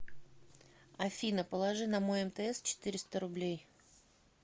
афина положи на мой мтс четыреста рублей